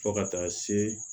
Fo ka taa se